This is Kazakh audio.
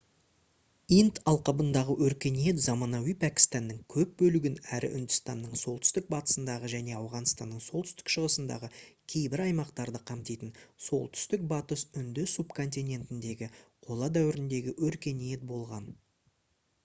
инд алқабындағы өркениет заманауи пәкістанның көп бөлігін әрі үндістанның солтүстік батысындағы және ауғанстанның солтүстік шығысындағы кейбір аймақтарды қамтитын солтүстік батыс үнді субконтинентіндегі қола дәуіріндегі өркениет болған